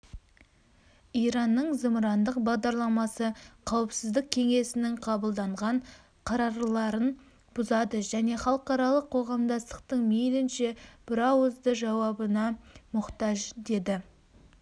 иранның зымырандық бағдарламасы қауіпсіздік кеңесінің қабылданған қарарларын бұзады және халықаралық қоғамдастықтың мейлінше бірауызды жауабына мұқтаж деді